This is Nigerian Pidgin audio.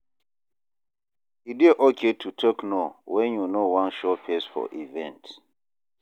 E dey okay to talk no when you no wan show face for event